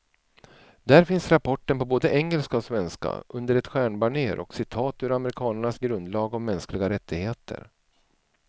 Där finns rapporten på både engelska och svenska, under ett stjärnbanér och citat ur amerikanernas grundlag om mänskliga rättigheter.